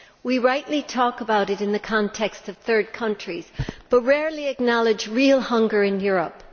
We rightly talk about it in the context of third countries, but rarely acknowledge real hunger in Europe.